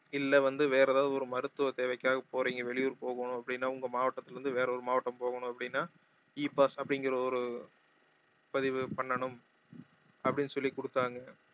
இல்ல வந்து வேற ஏதாவது ஒரு மருத்துவ தேவைக்காக போறீங்க வெளியூர் போகணும் அப்படின்னா உங்க மாவட்டத்தில இருந்து வேற ஒரு மாவட்டம் போகணும் அப்படின்னா E pass அப்படிங்கற ஒரு பதிவு பண்ணனும் அப்படின்னு சொல்லி குடுத்தாங்க